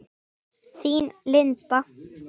Þín Linda.